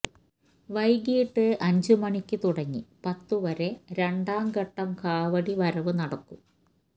വൈകിട്ട് അഞ്ചു മണിക്ക് തുടങ്ങി പത്തുവരെ രണ്ടാം ഘട്ടം കാവടി വരവ് നടക്കും